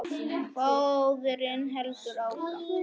Móðirin heldur áfram.